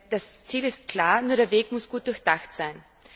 Das Ziel ist klar, nur der Weg muss gut durchdacht sein.